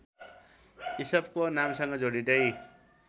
इसपको नामसँग जोडिँदै